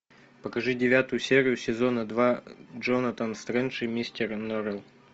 покажи девятую серию сезона два джонатан стрендж и мистер норрелл